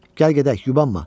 Gəl gedək, yubanma.